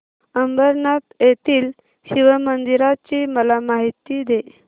अंबरनाथ येथील शिवमंदिराची मला माहिती दे